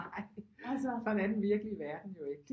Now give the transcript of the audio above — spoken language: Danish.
Nej sådan er den virkelige verden jo ikke